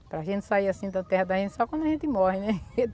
Para a gente sair assim da terra da gente, só quando a gente morre, né?